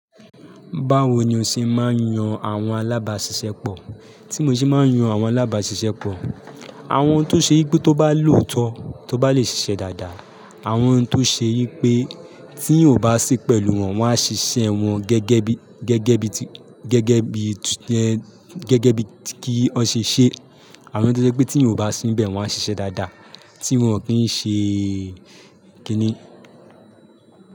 Báwo ni o ṣe máa ń yan àwọn alábàáṣiṣẹ́ pọ̀? Tí mo ṣe máa ń yan àwọn alábàáṣiṣẹ́ pọ̀, àwọn tó ṣe yi pé tó bá lòótọ́ tó bá lè ṣiṣẹ́ dáadáa, àwọn tó ṣe yí pé tí èèyàn o bá sí pẹ̀lú wọn, wọ́n á ṣiṣẹ́ wọn gẹ́gẹ́ bi, gẹ́gẹ́ bi ti, gẹ́gẹ́ bi, gẹ́gẹ́ bi kí wọ́n ṣe ṣẹ. Àwọn tó ṣe pé tí èèyàn ò bá sínbẹ̀ wọ́n á ṣiṣẹ́ dáadáa tí wọn ò kí ń ṣe kíni.